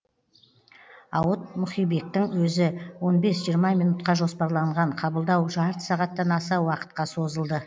ауыт мұхибектің өзі он бес жиырма минутқа жоспарланған қабылдау жарты сағаттан аса уақытқа созылды